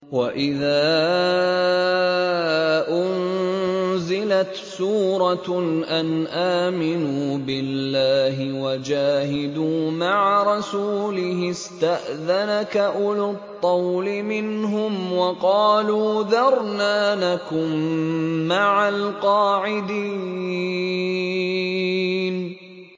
وَإِذَا أُنزِلَتْ سُورَةٌ أَنْ آمِنُوا بِاللَّهِ وَجَاهِدُوا مَعَ رَسُولِهِ اسْتَأْذَنَكَ أُولُو الطَّوْلِ مِنْهُمْ وَقَالُوا ذَرْنَا نَكُن مَّعَ الْقَاعِدِينَ